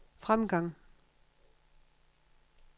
fremgang